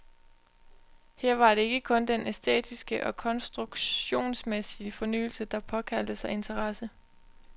Her var det ikke kun den æstetiske og konstruktionsmæssige fornyelse, der påkaldte sig interesse.